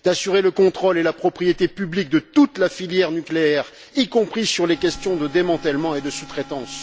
d'assurer le contrôle et la propriété publique de toute la filière nucléaire, y compris sur les questions de démantèlement et de sous traitance